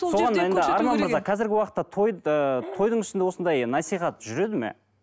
қазіргі уақытта той ы тойдың үстінде осындай насихат жүреді ме